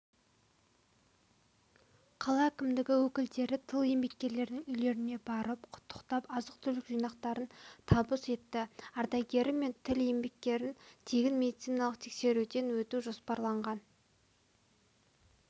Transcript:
қала әкімдігінің өкілдері тыл еңбеккерлерінің үйлеріне барып құттықтап азық-түлік жинақтарын табыс етті ардагері мен тыл еңбеккерін тегін медициналық тексеруден өту жоспарланған